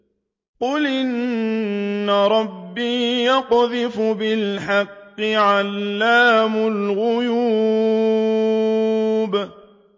قُلْ إِنَّ رَبِّي يَقْذِفُ بِالْحَقِّ عَلَّامُ الْغُيُوبِ